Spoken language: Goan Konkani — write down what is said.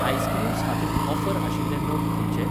आइस्क्रीम्स हातूंत ऑफर आशिल्ले नग खंयचे?